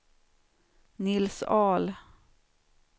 Nils Ahl